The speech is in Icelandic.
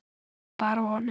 Bara honum.